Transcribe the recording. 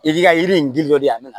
I k'i ka yiri in gili dɔ di a me